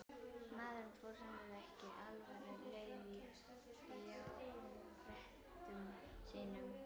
Maðurinn fór sannarlega ekki alfaraleið í fjárprettum sínum.